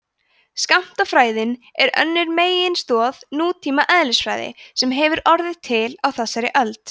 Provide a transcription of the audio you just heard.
skammtafræðin er önnur meginstoð nútíma eðlisfræði sem hefur orðið til á þessari öld